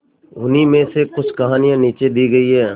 उन्हीं में से कुछ कहानियां नीचे दी गई है